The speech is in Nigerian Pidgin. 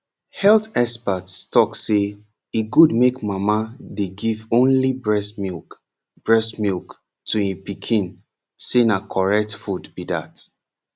health experts talk say e good make mama dey give only breast milk breast milk to e pikin say na correct food be dat